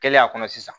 Kɛlen a kɔnɔ sisan